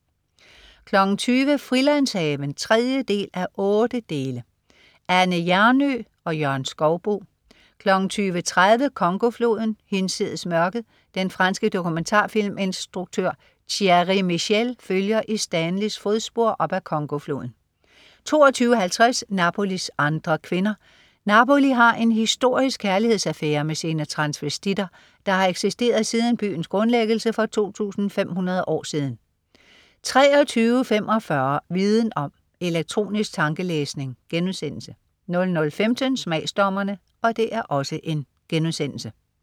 20.00 Frilandshaven 3:8. Anne Hjernøe og Jørgen Skouboe 20.30 Congo-floden. Hinsides mørket. Den franske dokumentarfilminstruktør Thierry Michel følger i Stanleys fodspor op ad Congofloden 22.50 Napolis andre kvinder. Napoli har en historisk kærlighedsaffære med sine transvestitter, der har eksisteret siden byens grundlæggelse for 2500 år siden 23.45 Viden Om: Elektronisk tankelæsning* 00.15 Smagsdommerne*